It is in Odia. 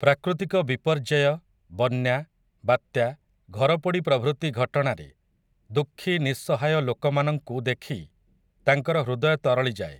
ପ୍ରାକୃତିକ ବିପର୍ଯ୍ୟୟ, ବନ୍ୟା, ବାତ୍ୟା, ଘରପୋଡ଼ି ପ୍ରଭୃତି ଘଟଣାରେ, ଦୁଃଖି ନିଃସହାୟ ଲୋକମାନଙ୍କୁ ଦେଖି ତାଙ୍କର ହୃଦୟ ତରଳିଯାଏ ।